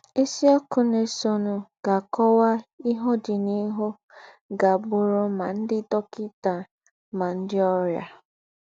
Ísìọ́kù ná-èsọ̀nù gá-ákọ́wà íhe ọ́dìnìhù gá-ábụ̀rù mà ńdị́ dọ́kịtà mà ńdị́ ọ́rịà.